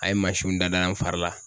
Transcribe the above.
A ye mansinw da da n fari la